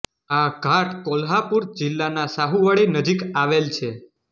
આ ઘાટ કોલ્હાપુર જિલ્લાના શાહુવાડી નજીક આવેલ છે